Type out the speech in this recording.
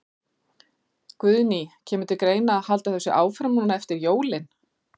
Guðný: Kemur til greina að halda þessu áfram núna eftir jólin?